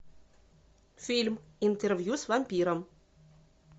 фильм интервью с вампиром